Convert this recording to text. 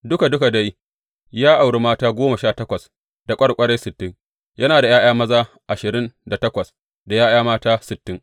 Duka duka dai ya auri mata goma sha takwas da ƙwarƙwarai sittin, yana da ’ya’ya maza ashirin da takwas da ’ya’ya mata sittin.